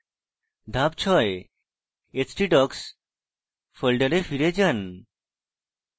ধাপ 6: htdocs ফোল্ডারে ফিরে যান